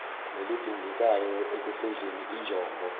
nelidingekayo ekufezeni injongo